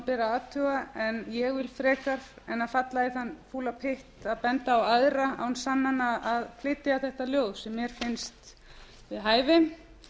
að athuga en ég vil frekar en falla í þann fúla pytt að benda á aðra án sannana að flytja þetta ljóð sem mér finnst við þær hæfi